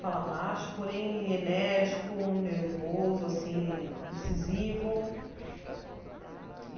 Fala baixo, porém, enérgico, nervoso, assim incisivo.